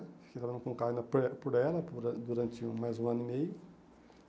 Fiquei trabalhando com o carro ainda por ela, por ãh durante mais um ano e meio.